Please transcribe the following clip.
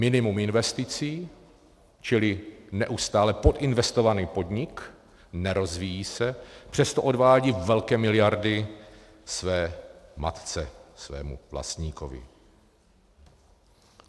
Minimum investic, čili neustále podinvestovaný podnik, nerozvíjí se, přesto odvádí velké miliardy své matce, svému vlastníkovi.